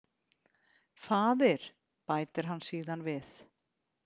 Faðir, bætir hann síðan við.